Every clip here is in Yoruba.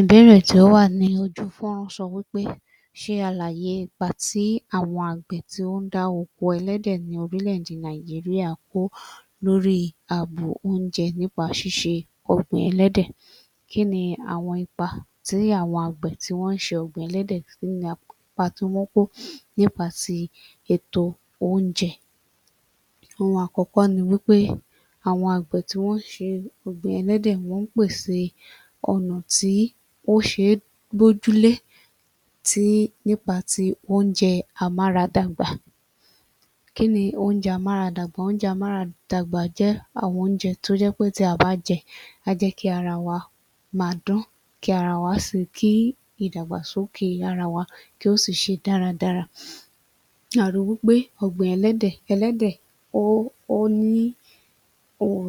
Ìbéèrè tí ó wà ní ojú fọ́nrán sọ wí pé ṣe àlàyé ipa tí àwọn àgbẹ̀ tí ó ń dá oko ẹlẹ́dẹ̀ ní orílẹ̀-èdè Nàìjíríà kó lórí ààbò oúnjẹ nípa ṣíṣe ọ̀gbìn ẹlẹ́dẹ̀. Kí ni àwọn ipa tí àwọn àgbẹ̀ tí wọ́n ń ṣe ọ̀gbìn ẹlẹ́dẹ̀, kí ni ipa tí wọ́n kó nípa ti ètò oúnjẹ? Ohun àkọ́kọ́ ni wí pé àwọn àgbẹ̀ tí wọ́n ń ṣe ọ̀gbìn ẹlẹ́dẹ̀ wọ́n ń pèsè ọ̀nà tí ó ṣe é bójúlé tí nípa ti oúnjẹ amáradàgbà. Kí ni oúnjẹ amáradàgbà? Oúnjẹ amáradàgbà jẹ́ àwọn oúnjẹ tí ó jẹ́ pé tí a bá jẹ á jẹ́ kí ara wá máa dán, kí ara wá [sì…?], kí ìdàgbàsókè ara wa kí ó sì ṣe dáradára. A ri wí pé ọ̀gbìn ẹlẹ́dẹ̀, ẹlẹ́dẹ̀ [ó… ó] ní um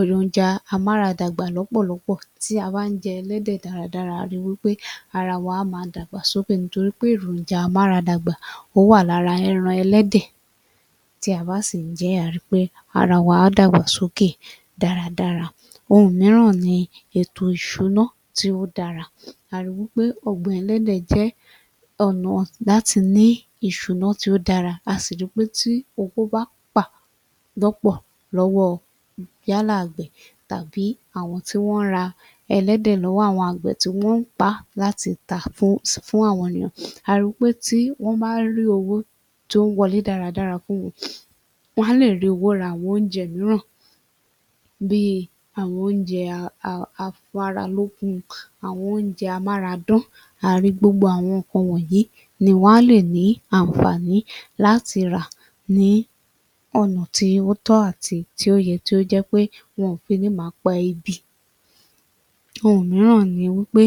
èròjà amáradàgbà lọ́pọ̀lọpọ̀ tí a bá ń jẹ ẹlẹ́dẹ̀ dáradára, à á ri wí pé ara wa á máa dàgbà sókè nítorí pé èròjà amáradàgbà ó wà lára ẹran ẹlẹ́dẹ̀. Tí a bá sì ń jẹ ẹ́, à á ri pé, ara wa á dàgbà sókè dáradára. Ohun mìíràn ni ètò ìṣúná tí ó dára. A ri wí pé ọ̀gbìn ẹlẹ́dẹ̀ jẹ́ ọ̀nà láti ní ìṣúná tí ó dára. A sì ri pé tí owó bá pà lọ́pọ̀ lọ́wọ́ yálà àgbẹ̀ tàbí àwọn tí wọ́n ń ra ẹlẹ́dẹ̀ lọ́wọ́ àwọn àgbẹ̀ tí wọ́n ń pa á láti tà [fún…] fún àwọn ènìyàn, a ri wí pé tí wọ́n bá rí owó tó ń wọlé dáradára fún wọn, wọn á lè rí owó ra àwọn oúnjẹ mìíràn bi àwọn oúnjẹ [a…a…] afáralókun, àwọn oúnjẹ amáradán. À á ri gbogbo àwọn nǹkan wọ̀nyí ni wọn á lè ní ànfààní láti rà ní ọ̀nà tí ó tọ́ àti tí ó yẹ tí ó jẹ́ pé wọn ò fi ní máa pa ebi. Ohun mìíràn ni wí pé,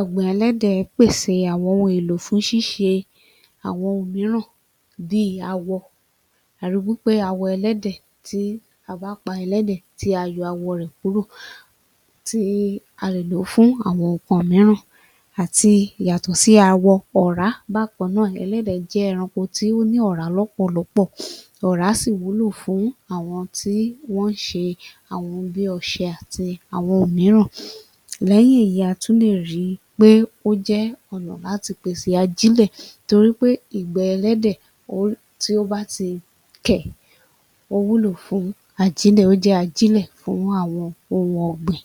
ọ̀gbìn ẹlẹ́dẹ̀ pèsè àwọn ohun-èlò fún ṣiṣe àwọn ohun mìíràn bí awọ. A ri wí pé awọ ẹlẹ́dẹ̀, tí a bá pa ẹlẹ́dẹ̀ tí a yọ awọ rẹ̀ kúrò, tí a lè lò ó fún àwọn nǹkan mìíràn àti yàtọ̀ sí awọ́, ọ̀rá bákan náà. Ẹlẹ́dẹ̀ jẹ́ ẹranko tí ó ní ọ̀rá lọ́pọ̀lọ́pọ̀. Ọ̀rá sì wúlò fún àwọn tí wọ́n ń ṣe àwọn ohun bí ọṣẹ àti àwọn ohun mìíràn. Lẹ́yìn èyí, a tún lè ri pé ó jẹ́ ọ̀nà láti pèsè ajílẹ̀ torí pé ìgbẹ́ ẹlẹ́dẹ̀ [ó…] tí ó bá ti kẹ̀, ó wúlò fún ajílẹ̀, ó jẹ́ ajílẹ̀ fún àwọn ohun ọ̀gbìn.